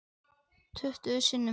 Tuttugu sinnum.